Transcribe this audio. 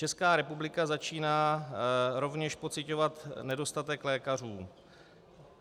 Česká republika začíná rovněž pociťovat nedostatek lékařů.